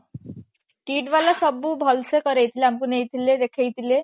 KIIT ବାଲା ସବୁ ଭଲସେ କରେଇ ଥିଲେ ଆମକୁ ନେଇଥିଲେ ଦେଖେଇ ଥିଲେ